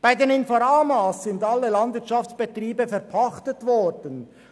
Bei den Inforamas sind alle Landwirtschaftsbetriebe verpachtet worden.